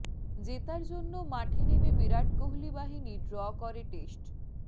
জেতার জন্য মাঠে নেমে বিরাট কোহলি বাহিনী ড্র করে টেস্ট